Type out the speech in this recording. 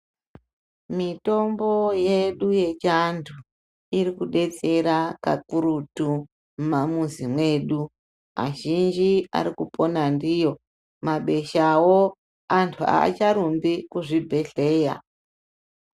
Mitombo yedu yechiantu iri kudetsera kakurutu mumamuzi mwedu azhinji ari kupona ndiyo, mabeshawo antu aacharumbi kuzvibhedhlera